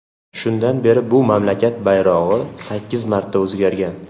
Shundan beri bu mamlakat bayrog‘i sakkiz marta o‘zgargan .